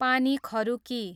पानी खरुकी